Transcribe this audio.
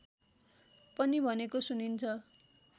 पनि भनेको सुनिन्छ